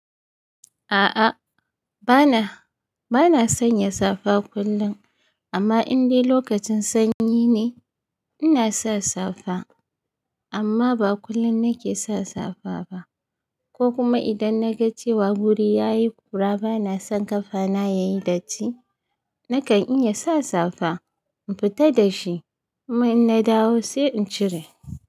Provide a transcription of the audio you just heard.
A'a, bana, bana sanya safa kullum amma indai lokacin sanyi ne ina sa safa amma ba kullum nake sa safa ba, ko kuma idan na ga cewa guri ya yi ƙura bana son ƙafana ya yi datti nakan iya sa safa in fita da shi, kuma in na dawo sai in cire.